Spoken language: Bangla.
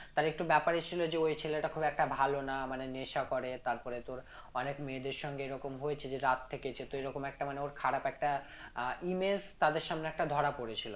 ওই ছেলেটা খুব একটা ভালো না মানে নেশা করে তারপরে তোর অনেক মেয়েদের সঙ্গে এরকম হয়েছে যেটা তো এরকম একটা মানে ওর খারাপ একটা আহ image তাদের সামনে একটা ধরা পড়েছিল